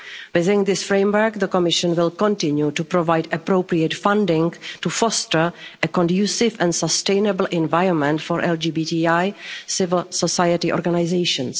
this year. Within this framework, the Commission will continue to provide appropriate funding to foster a conducive and sustainable environment for LGBTI civil society organisations.